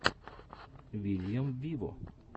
вильям виво